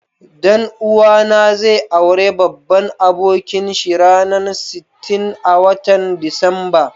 Dan uwa na zai aure babban abokin shi ranan sitin,a watan Disamba.